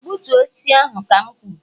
gbutuo osisi ahụ ka m kwuru